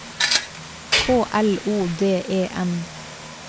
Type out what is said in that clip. K L O D E N